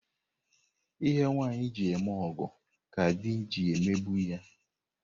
Ihe nwaanyi ji eme ọgọ ka di ji emegbu ya.